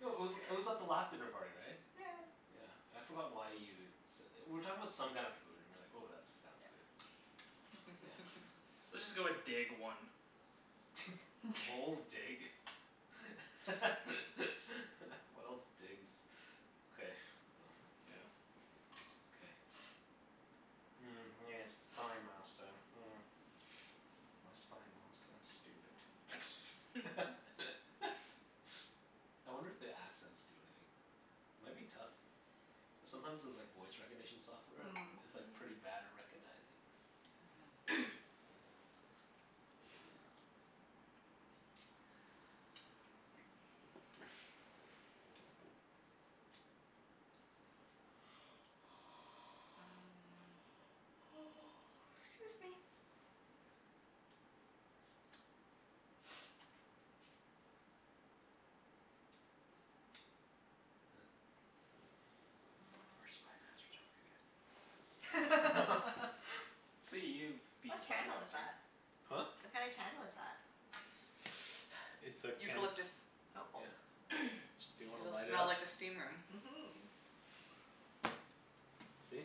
No, it was it was at the last dinner party, right? Yeah yeah. Yeah. I forgot why you s- we were talking about some kinda food and you were like, "Oh, that sounds Yeah. good." Yeah. Let's just go with dig, one. Moles dig. What else digs? Okay, Yeah. well, yeah. Okay. Mm, yes, Spy Master, hmm. My Spy Master is stupid. I wonder if the accents do anything? It might be tough. Cuz sometimes those like voice recognition software, Mm. it's like pretty Mm. bad at recognizing. Mhm. Mm. 'Scuse me. Is th- Huh. Our Spy Masters aren't very good. Let's see you be What Spy candle is Master. that? Huh? What kinda candle is that? It's a can. Eucalyptus. Oh. Yeah. Do you wanna It'll light it smell up? like a steam room. Mhm. See?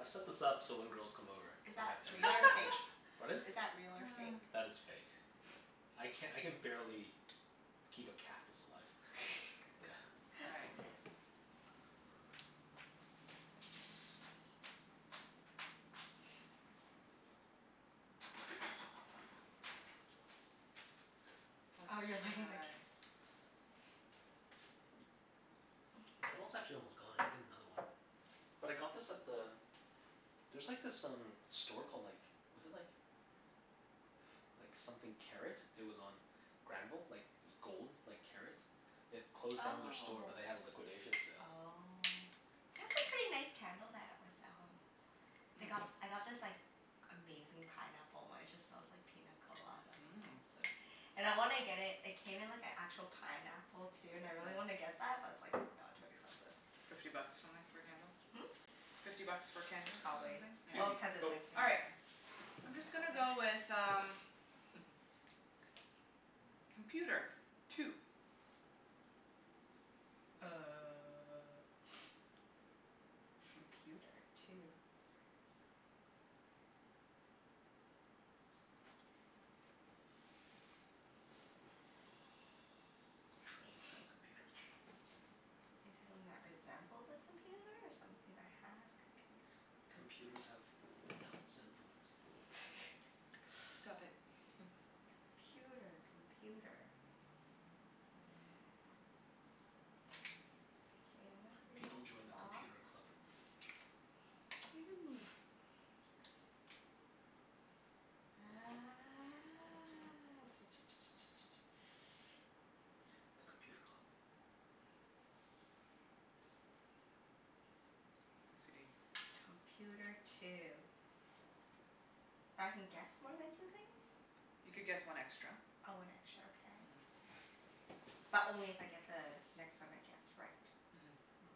I've set so nice. this up so when girls come over Is I that have real or fake? advantage. Pardon? Is that real or fake? That is fake. I can, I can barely keep a cactus alive. Yeah. All right. Oh, you're Let's lighting the cand- try The candle's actually almost gone. I can get another one. But I got this at the, there's like this um store called like, was it like like something Karat. It was on Granville. Like gold, like karat. It closed down their store but they had a Oh. liquidation sale. Oh. They have some pretty nice candles at West Elm. Mm. They got, I got this like amazing pineapple one. It just smells like pina colada, oh Mmm. so And I wanna get it, it came in like an actual pineapple, too, and I really wanna Nice. get that, but it's like no, too expensive. Fifty bucks or something for a candle? Hmm? Fifty bucks for a candle, or something? Probably. Yeah. Susie. Well, cuz it's Go. like in All a right. I'm just gonna go pineapple thing. with um Computer. Two. Uh computer two? Trains have computers on them. Is it something that resembles a computer or something that has computer? Computers have nuts and bolts. Stop it. Computer. Computer. K, I'm gonna say People join the box. Computer Club. You. Ah The Computer Club. OCD. Computer two. But I can guess more than two things? You could guess one extra. Oh, one extra. Okay. Mhm. But only if I get the next one I guess right? Mhm. Mm.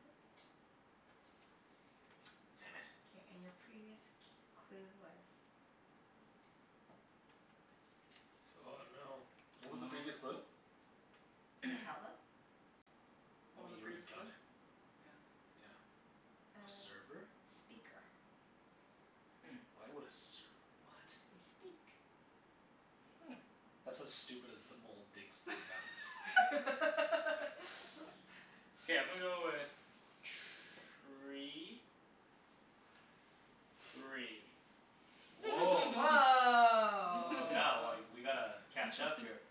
Part. Damn it. K, and your previous c- clue was Oh no. What was the previous Wow. clue? Can you tell them? What Well I was the mean, you already previous got clue? it. Yeah. Yeah. Uh, Server? speaker. Hmm. Why would a serv- what? They speak. Hmm. That's as stupid as the mole digs for nuts. K, I'm gonna go with tree. Three. Woah. Oh yeah, well Woah. like, we gotta catch up here.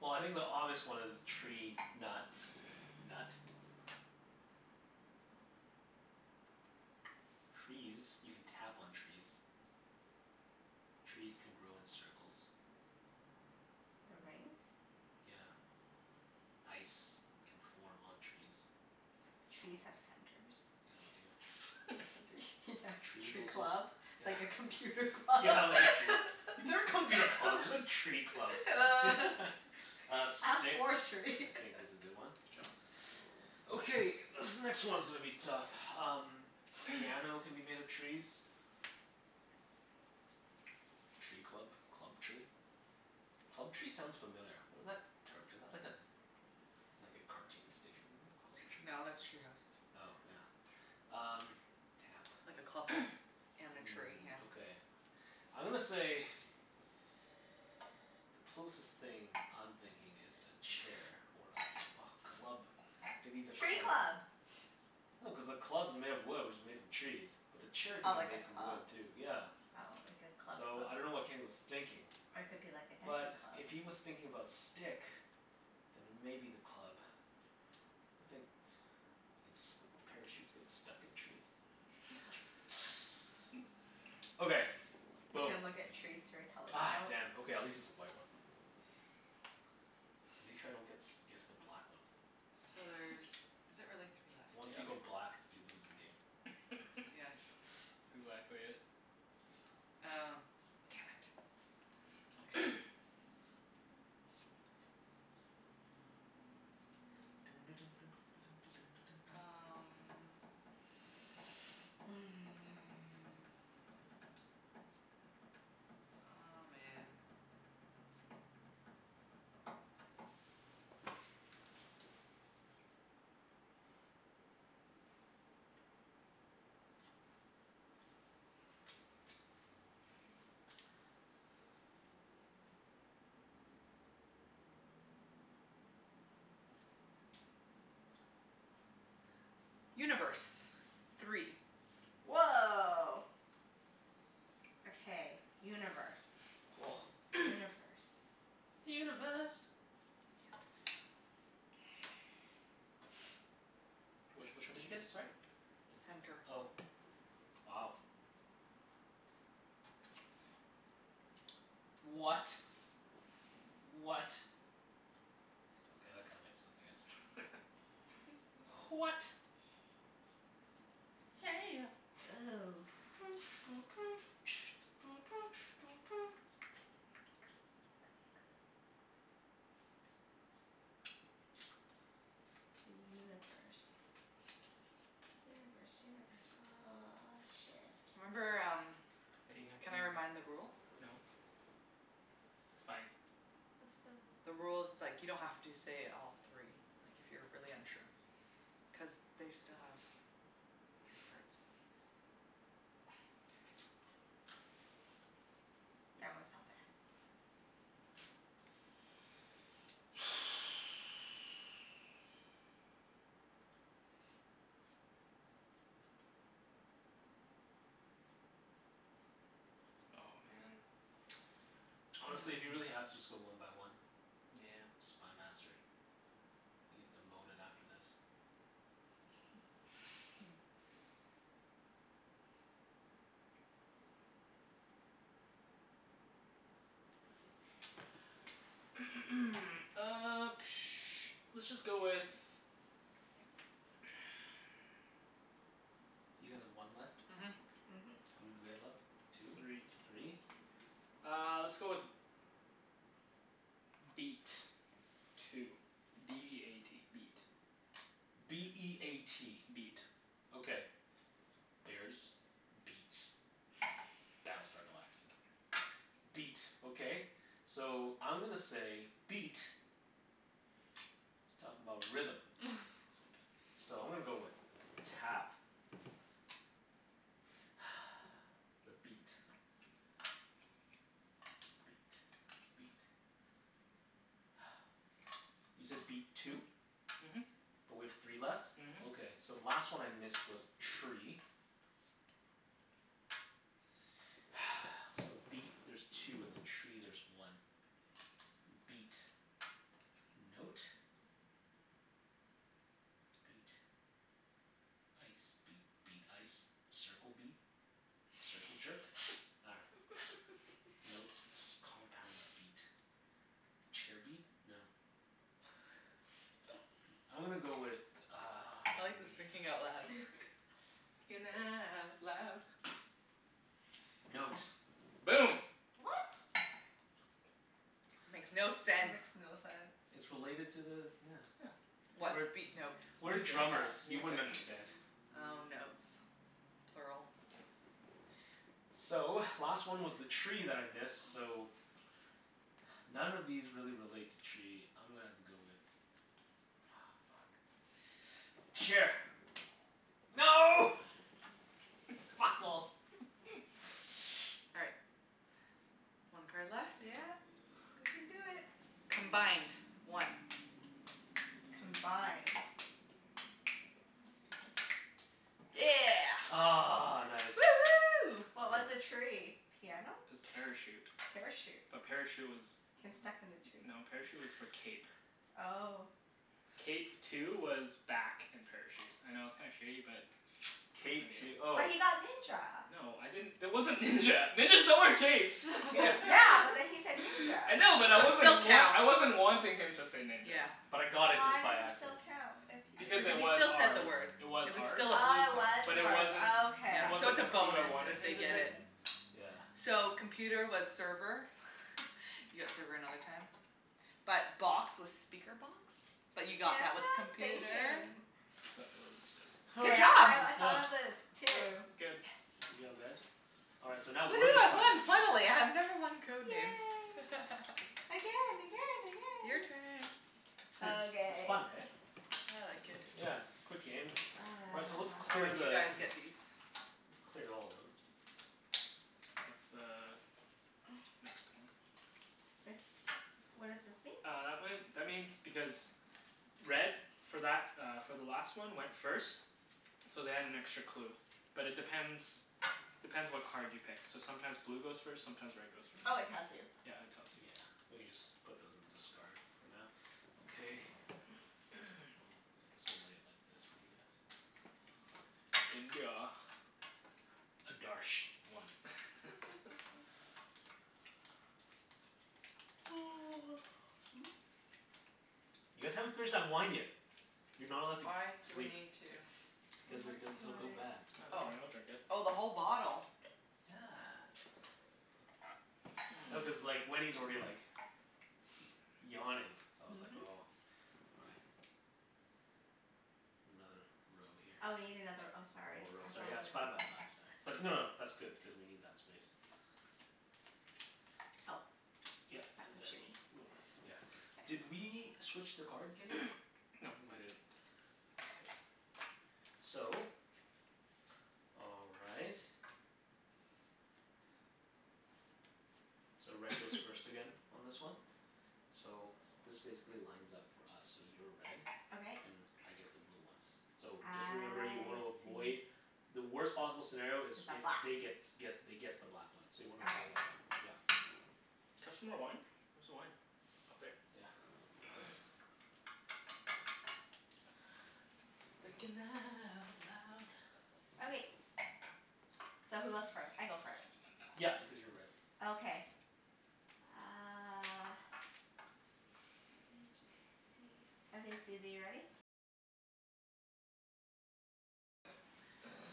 Well, I think the obvious one is tree nuts. Nut. Trees. You can tap on trees. Trees can grow in circles. The rings? Yeah. Ice can form on trees. Trees have centers. Yeah, they do. Yeah, Trees tree also, club. yeah Like a computer club. Yeah, like a tree, there are computer clubs, there's no tree clubs. Uh, Ask stick, I forestry. think is a good one. Good job. Okay, this next one's gonna be tough. Um Piano can be made of trees. Tree club? Club tree? Club tree sounds familiar. What is that term? Is that like a like a cartoon station No, Club Tree? that's Treehouse. Oh, yeah. Um, tap. Like a clubhouse and a tree, Mm, yeah. okay. I'm gonna say Closest thing I'm thinking is a chair or a a club maybe the Tree club? club! No, cuz the club's made of wood which is made from trees. But the chair Oh, could like be a made from club? wood, too. Yeah. Oh, like a club So, I dunno club. what Kenny was thinking. Or it could be like a But dancing s- club. if he was thinking about stick then maybe the club. I think ins- parachutes get stuck in trees. Okay, You boom. can look at trees through a Ah, telescope. damn. Okay, at least it's a white one. Make sure I don't gets guess the black one. So there's, is it really three left? Once you Yep. go black you lose the game. That's Yes. exactly it. Oh, damn it. Okay. Um Aw, man. Universe. Three. Woah. Okay, universe. Universe. Universe. Yes. Which which one did you guess, sorry? Does Center. it, oh, wow. What? What? Okay, that kinda makes sense, I guess. H- what? Hey ya. Ooh. The universe. Universe, universe. Ah, shit. Remember um, Hey, you have to can I re- remind the rule? no. It's fine. What's the rule? The rule is like you don't have to say all three. Like, if you're really unsure. Cuz they still have three cards. Damn it. Yeah, I'm gonna stop there. Oh, man. Honestly, if you really have to, just go one by one. Nyeah. Spy Master. You get demoted after this. Hmm. Uh let's just go with You guys have one left? Mhm. Mhm. How many do we have left? Three. Two? Three? Uh, let's go with beat. Two. B e a t. Beat. B e a t. Beat. Okay. Bears. Beats. Battlestar Galactica. Beat. Okay. So, I'm gonna say beat is talkin' 'bout rhythm. So I'm gonna go with tap. The beat. The beat. The beat. You said beat two? Mhm. But we have three left? Mhm. Okay, so the last one I missed was tree. So beat there's two, and then tree there's one. M- beat. Note. Beat. Ice. Beat. Beat. Ice. Circle beat. Circle jerk? Nah. Note. S- compound beat. Chair beat? No. Beat. I'm gonna go with uh I like this thinking out loud. Thinking out loud. Note. Boom. What? Makes no That sense. makes no It's sense. related to the, yeah. Yeah. What? We're Beat note? we're drummers. Mus- You music wouldn't music. understand. Oh, notes. Plural. So, last one was the tree that I missed, so none of these really relate to tree. I'm gonna have to go with Aw, fuck. Chair. No! Fat balls! All right. One card left. Yeah. We can do it. Combined. One. Combined. Must be this one. Yeah. Ah, nice. Woohoo. What was the tree? Piano? Parachute. Parachute? A parachute was, Can stuck in the tree? no, parachute was for cape. Oh. Cape two was back and parachute. I know it's kinda shitty but what Cape two oh. But he got ninja. No, I didn't, there wasn't ninja. Ninjas don't wear capes. Yeah. Yeah, but then he said ninja. I know but I So it still wasn't wan- counts. I wasn't wanting him to say ninja. Yeah. But I got it Why just does by it accident. still count, if Because Cuz if it he he was still said the ours. word. It was It was ours. still a blue Oh, it card. was But it yours. wasn't, Oh okay. it Yeah. So wasn't it's a the clue I bonus wanted if they him to get say. it. Mm. Yeah. So, computer was server. You got server another time. But box was speaker box, but That's you what got that with I was computer. thinking. So, it was just K, Good job. I I That's done. thought of it too. It's good. Good Yes. job, guys. All right, so now we're Woohoo. the I Spy won, Masters. finally. I have never won Code Names. Yay. Again, again, Your again! turn. It's it's Okay. fun, hey? I like it. Yeah. Quick games. All right, so let's Oh, clear right. Ah. You the guys get these. Let's clear all of them. That's the next one. This, what does this mean? Uh, that one, that means because red for that uh for the last one went first. So they had an extra clue. But it depends depends what card you pick. So sometimes blue goes first, sometimes red goes Oh, first. it tells you. Yeah, it tells you. Yeah. We can just put those in the discard for now. Okay. Oh, I guess we'll lay it like this for you guys. India. Adarsh. One. You guys haven't finished that wine yet. You're not allowed to g- Why do we sleep. need to I'm Because it working di- it'll on go bad. it. No, don't Oh. worry. I'll drink it. Oh, the whole bottle? Yeah. No, cuz Mmm. like Wenny's already like yawning. So I was like Mhm. oh all right. Another row here. Oh, we need another, oh One sorry. more row, I thought sorry. Yeah, it's five we by five, sorry. But no no, that's good, cuz we need that space. Oh, Yep. And that's what you then mean. we'll, yeah. Did K. we switch the card, Kenny? I No, don't think we I did. didn't. Okay. So all right. So red goes first again on this one. So this basically lines up for us. So you're red. Okay. And I get the blue ones. So, I just remember you wanna avoid see. The worst possible scenario Is is a if black they gets guess they guess the black one, so you wanna Okay. avoid that one. Yeah. Can I have some more wine? Where's the wine? Up there. Yeah. Thinking out loud. Okay. So who goes first? I go first. Yep, cuz you're red. Okay. Uh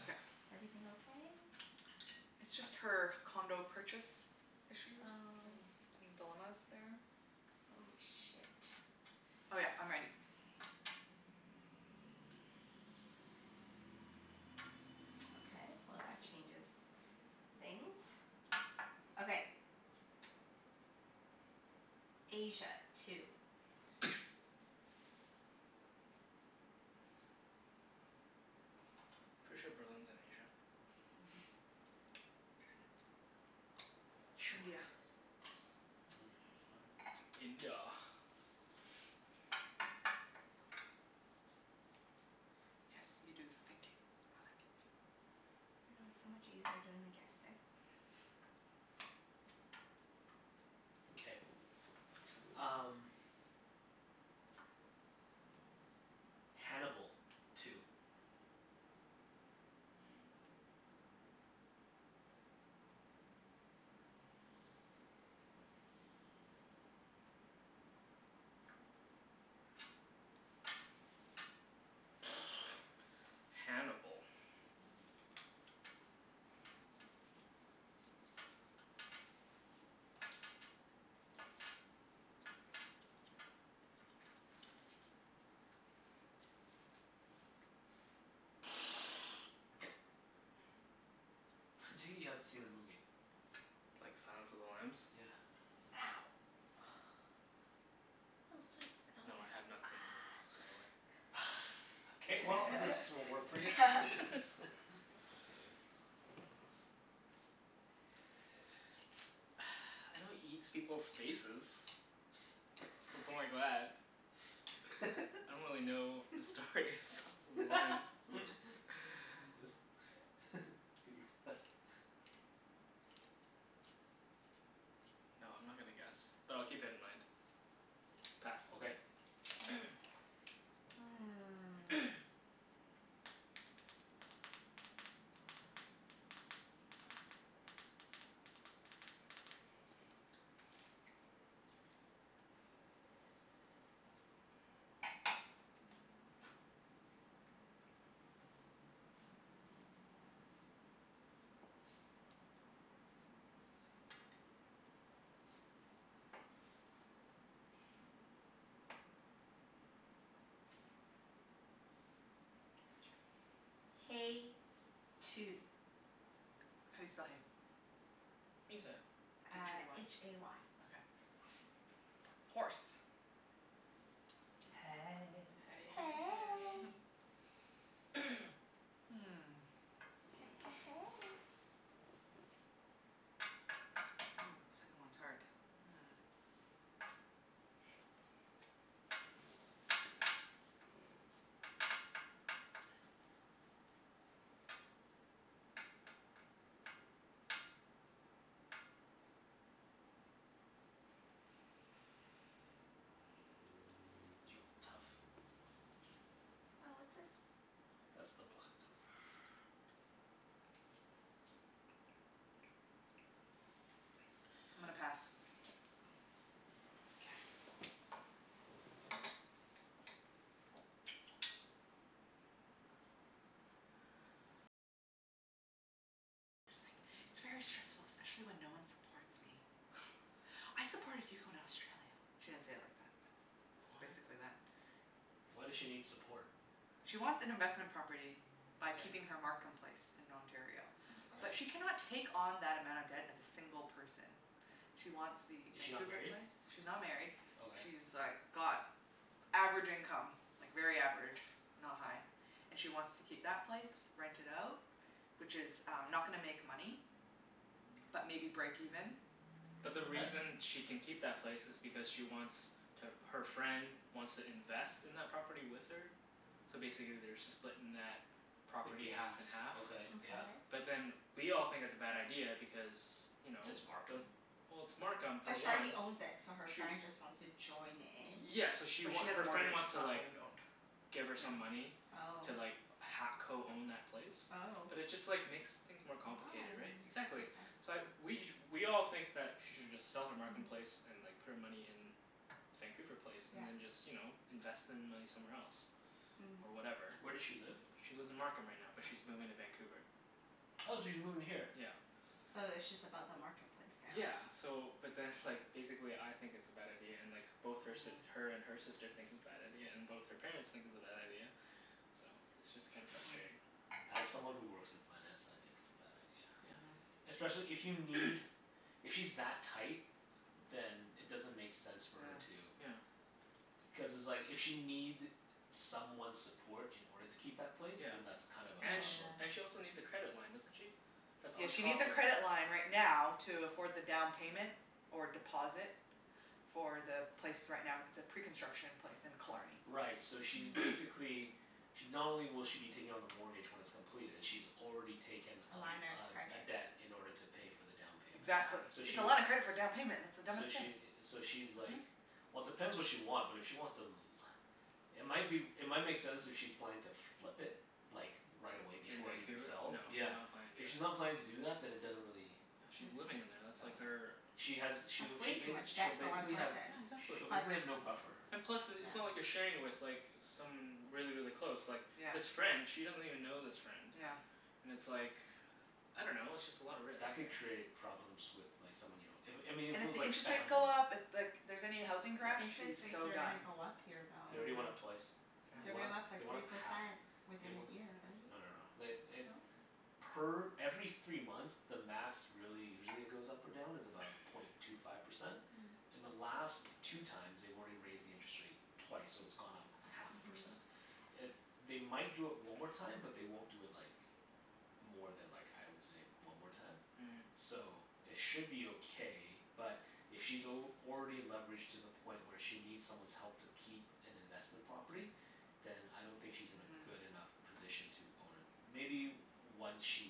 Okay. Everything okay? It's just her condo purchase issues Oh. and some dilemmas there. Oh, shit. Oh yeah, I'm ready. Okay, well that changes things. Okay. Asia. Two. Pretty sure Berlin's in Asia. Mhm. Trindia. Mm, smart. India. Yes. You do the thinking. I like it. I know, it's so much easier doing the guessing. Okay, um Hannibal. Two. Hannibal. I take it you haven't seen the movie? Like, Silence of the Lambs? Yeah. Ow. Oh, sweet. It's okay. No, I have not seen the movie, by the way. K, well this won't work for you. Ah. I know he eats people's faces. I don't really know the story of Silence of the Lambs. Just do your best. No, I'm not gonna guess. But I'll keep it in mind. Pass. Okay. K. K, let's try, hay. Two. How do you spell hay? You can say it. h Uh, a h y. a y. Okay. Horse. Hey. Hey hey hey. Hey. Hmm. Hey hey hey. Ooh, second one's hard. Mhm. These are all tough. Oh, what's this? That's the black one. I'm gonna pass. K. K. "I supported you in Australia." She didn't say it like that, but it's What? basically that. Why does she need support? She wants an investment property by Okay. keeping her Markham place in Ontario. Mkay. But Okay. she cannot take on that amount of debt as a single person. She wants the Is she not Vancouver married? place. She's not married. Okay. She's like got average income. Like very average. Not high. And she wants to keep that place. Rent it out. Which is um not gonna make money. But maybe break even. But the Okay. reason she can keep that place is because she wants to, her friend wants to invest in that property with her. So basically they're splitting that The property half gains. and half. Okay, Okay. yeah. But then we all think it's a bad idea because you know? It's Markham? Well, it's Markham, for But she already one. owns it, so her Sh- friend just wants to join in? yeah, so she But she wa- has a her friend mortgage. wants It's to not like owned owned. give her some Yeah. money Oh. to like ha- co-own that place. Oh. But it just like makes things more complicated, right? Why? Exactly. Okay. So I we ju- we all think that she should just sell her Markham place Mhm. and like put her money in Vancouver place Yeah. and then just, you know, invest the money somewhere else. Mm. Or whatever. Where does she live? She lives in Markham right now, but she's moving to Vancouver. Oh, she's moving here? Yeah. So it's just about the Markham place now? Yeah. So, but then like, basically I think it's a bad idea, and like both her si- Mhm. her and her sister thinks it's bad idea, and both her parents think it's a bad idea. So it's just kinda Mhm. frustrating. As someone who works in finance, I think it's a bad idea. Yeah. Mhm. Especially if you need If she's that tight then it doesn't make sense for Yeah. her to Yeah. Cuz it's like if she'll need someone's support in order to keep that place. Yeah. Then that's kind of a And sh- problem. and she Yeah. also needs a credit line, doesn't she? That's Yeah, on she needs top a of credit line right now to afford the down payment. Or deposit. For the place right now, it's a pre-construction place in Killarney. Right, so she's Mm. basically She, not only will she be taking on the mortgage when it's completed she's already taken A a line of l- a a credit. debt in order to pay for the down payment. Yeah. Exactly. So It's she's a lot of credit for down payment. That's the dumbest So thing. she i- so she's Mhm. like Well depends what she want, but if she wants to l- It might be w- It might make sense if she's planning to flip it. Like, right away In before it even Vancouver? No, sells. she's Yeah. not planning to If do that. she's not planning to do that then it doesn't really Yeah, Make she's living in sense. there. That's like Uh her She has That's she'll way she too bas- much she'll debt for one basically have person. Yeah, exactly. she'll basically have no Plus buffer. And plus, i- it's not like yeah. you're sharing it with like someone really, really close. Like Yeah. this friend she doesn't even know this friend. Yeah. And it's like, I don't know. It's just a lot of risk, That could right? create problems with like someone you don't if, I mean And if it if was the like interest rates family go up, if like here's any housing crash, The she's interest rates so are done. gonna go up here, They though. already went up Mhm. twice. They They're Mm. went gonna up, go up Exactly. they like went three up half. percent They within we- a year, no no no. right? They eh No? Per every three months the max really usually it goes up or down is about point two five percent. Mm. In the last two times they've already raised the interest rate twice, so it's gone up half a Mhm. percent. It, they might do it one more time, but they won't do it like more than like, I would say, one more time. Mhm. So, it should be okay but if she's al- already leveraged to the point where she needs someone's help to keep an investment property then I don't think she's in a Mhm. good enough position to own a Maybe once she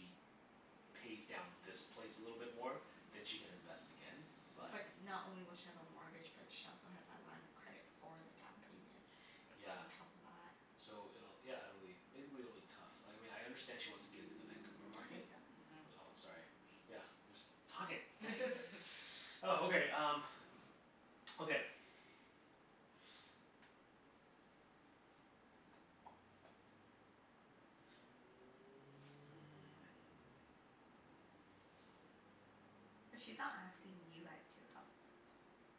pays down this place a little bit more. Then she can invest again Yeah. but But not only will she have a mortgage, but she also has that line of credit for the down payment. Yeah. On top of that. So it'll, yeah, it'll be, basically it'll be tough. Like, I mean I understand she wants to get into the Vancouver market Okay, go. Mhm. Oh, sorry. Yeah, I'm just talking. Oh, okay um okay Hmm. But she's not asking you guys to help,